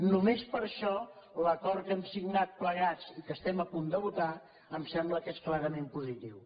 només per això l’acord que hem signat plegats i que estem a punt de votar em sembla que és clarament positiu